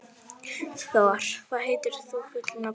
Thor, hvað heitir þú fullu nafni?